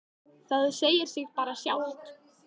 Það segir sig bara sjálft.